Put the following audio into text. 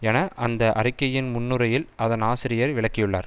என அந்த அறிக்கையின் முன்னுரையில் அதன் ஆசிரியர் விளக்கியுள்ளார்